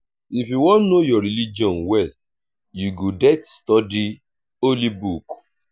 if you wan know your religion well you go det study holy book.